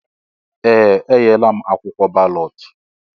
Ee! Enyela m akwụkwọ balọt.